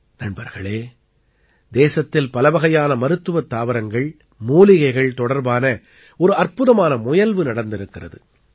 நண்பர்களே தேசத்தில் பலவகையான மருத்துவத் தாவரங்கள் மூலிகைகள் தொடர்பான ஒரு அற்புதமான முயல்வு நடந்திருக்கிறது